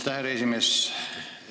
Aitäh, härra esimees!